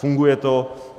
Funguje to.